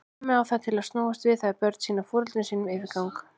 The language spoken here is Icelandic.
Dæmið á það til að snúast við þegar börn sýna foreldrum sínum yfirgang.